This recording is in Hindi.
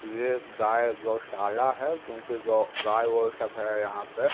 यह गाय गौशाला है क्योंकि ग गाय वो सब है यहाँ पे।